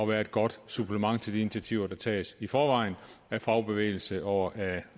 være et godt supplement til de initiativer der tages i forvejen af fagbevægelse og af